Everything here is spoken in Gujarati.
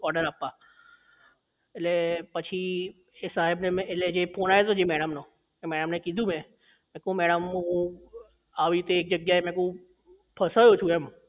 order આપવા એટલે પછી એ સાહેબ ને એટલે જે phone આયો તો મેડમ નો એમાં એમને કીધું મેં દેખો મેડમ હું આવી રીતે એક જગ્યા એ મેં કીધું ફસાયો છું એમ